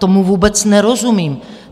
Tomu vůbec nerozumím.